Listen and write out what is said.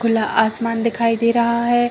खुला आसमान दिखाई दे रहा है।